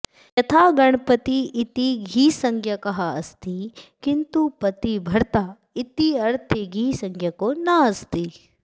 यथा गणपति इति घिसञ्ज्ञकः अस्ति किन्तु पतिः भर्ता इत्यर्थे घिसञ्ज्ञको नास्ति